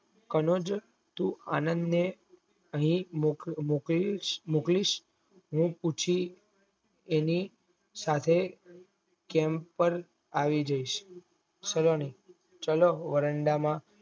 કનજ તું આનંદ ને મોક્લીસ હું પછી એની સાથે camp પર આઈ જસ સલોની ચાલો વરંડા માં